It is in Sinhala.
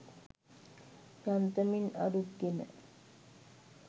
යන්තමින් අරුත් ගෙන